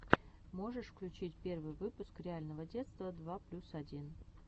можешь включить первый выпуск реального детства два плюс один